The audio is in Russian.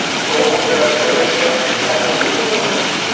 ооо городской расчетный центр телефон